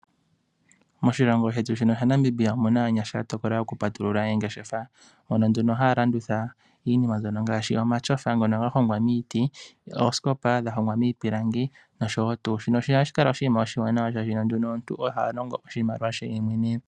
Moshilongo shetu shino shaNamibia omuna aanyasha ya tokola oku patulula oongeshefa. Hono nduno haa landitha iinima ngaashi omatsofa ga hogwa miiti noosikopa dha hogwa miipilangi noshowotu. Shino ohashi kala oshinima oshiwanawa oshoka omuntu oha longo oshimaliwa she yemwene.